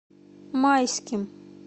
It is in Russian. майским